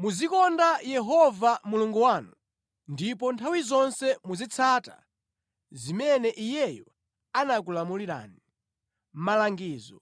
Muzikonda Yehova Mulungu wanu ndipo nthawi zonse muzitsata zimene Iyeyo anakulamulani, malangizo,